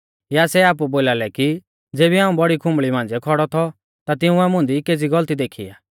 या सै आपु बोलालै कि ज़ेबी हाऊं बौड़ी खुंबल़ी मांझ़िऐ खौड़ौ थौ ता तिंउऐ मुंदी केज़ी गलती देखी आ